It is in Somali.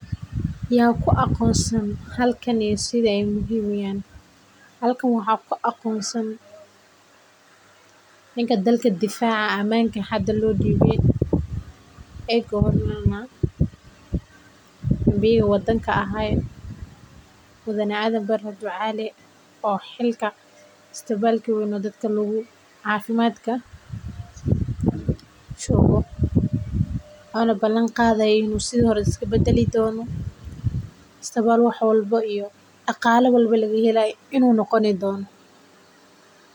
Ya ku aqoonsan halkan iyo sida aay muhiim uyihiin halkan waxaa ku aqoonsan ninka dalka difaaca hada loo diibi oo xilka isbitaalka weyn ee cafimaadka joogo ooma balan qaadi haayo in sidi hore iska badali doono.